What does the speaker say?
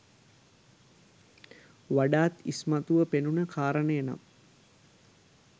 වඩාත් ඉස්මතුව පෙනුණ කාරණය නම්